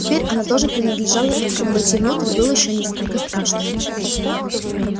теперь она тоже принадлежала им но войти внутрь было ещё несколько страшно